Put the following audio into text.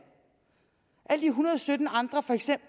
alle de hundrede sytten andre